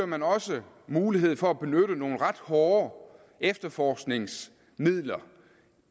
man også mulighed for at benytte nogle ret hårde efterforskningsmidler